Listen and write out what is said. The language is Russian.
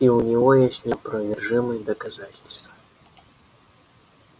и у него есть неопровержимые доказательства